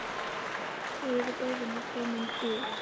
Rauði borðinn var kominn úr því.